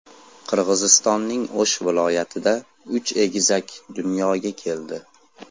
Qirg‘izistonning O‘sh viloyatida uch egizak dunyoga keldi.